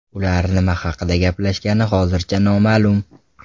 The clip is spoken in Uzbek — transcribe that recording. Ular nima haqida gaplashgani hozircha noma’lum.